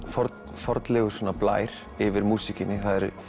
fornlegur blær yfir músíkinni